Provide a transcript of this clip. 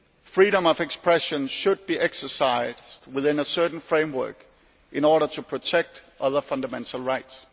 Freedom of expression should be exercised within a certain framework in order to protect other fundamental rights.